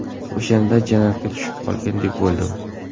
O‘shanda jannatga tushib qolgandek bo‘ldim.